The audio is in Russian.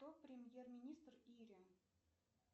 кто премьер министр ири